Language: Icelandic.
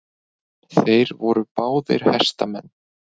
Þeir voru báðir hestamenn.